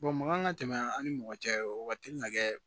mankan ka tɛmɛ an ni mɔgɔ cɛ o ka teli ŋa kɛ